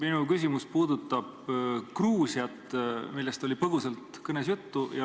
Minu küsimus puudutab Gruusiat, millest oli põgusalt ka kõnes juttu.